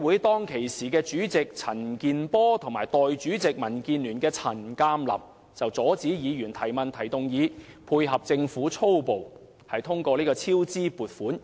當時的財委會主席陳健波和代理主席，民建聯的陳鑑林，阻止議員提問或提出動議，以配合政府粗暴通過200多億元的超支撥款。